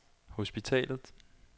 hospitalet